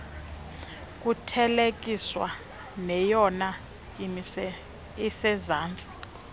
kuthelekiswa neyona isezantsi